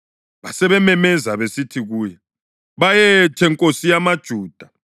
Basebememeza besithi kuye, “Bayethe, nkosi yamaJuda!”